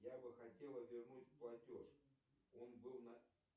я бы хотела вернуть платеж он был